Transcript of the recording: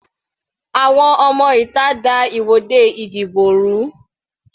Àwọn ọmọ ìta da ìwọ́de ìdìbò rú.